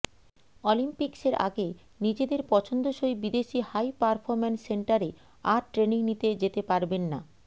অলিম্পিক্সের আগে নিজেদের পছন্দসই বিদেশি হাই পারফরম্যান্স সেন্টারে আর ট্রেনিং নিতে যেতে পারবেন না